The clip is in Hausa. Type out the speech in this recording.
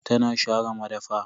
Tana share madafa.